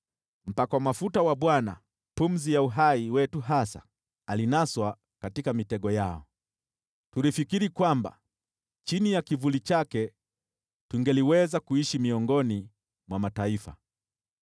Mpakwa mafuta wa Bwana , pumzi ya uhai wetu hasa, alinaswa katika mitego yao. Tulifikiri kwamba chini ya kivuli chake tungeliweza kuishi miongoni mwa mataifa.